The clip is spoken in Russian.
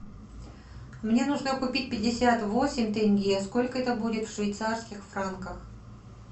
мне нужно купить пятьдесят восемь тенге сколько это будет в швейцарских франках